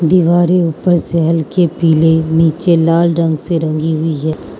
दीवारें ऊपर से हल्के पीले नीचे लाल रंग से रंगी हुई है।